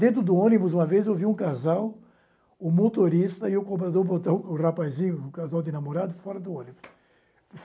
Dentro do ônibus, uma vez, eu vi um casal, o motorista e o comprador botaram o rapazinho, o casal de namorado, fora do ônibus.